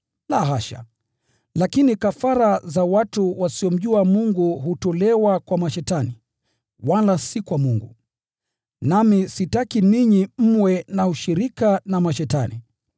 La hasha! Lakini kafara za watu wasiomjua Mungu hutolewa kwa mashetani, wala si kwa Mungu. Nami sitaki ninyi mwe na ushirika na mashetani.